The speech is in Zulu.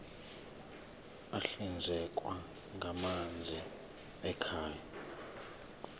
ahlinzekwa ngamanzi ekhaya